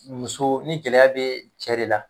Muso ni gɛlɛya be cɛ de la